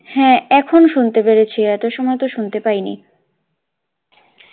হাঁ এখন শুনতে পেরেছি এত সময় তো শুনতে পাইন